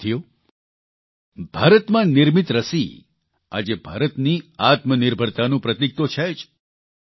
સાથીઓ ભારતમાં નિર્મિત રસી આજે ભારતની આત્મનિર્ભરતાનું પ્રતિક તો છે જ